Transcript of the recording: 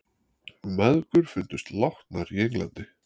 Mæðgur fundust látnar í Englandi